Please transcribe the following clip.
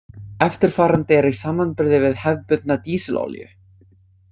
Eftirfarandi er í samanburði við hefðbundna dísilolíu.